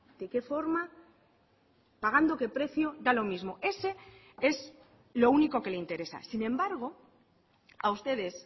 de qué forma pagando qué precio da lo mismo ese es lo único que le interesa sin embargo a ustedes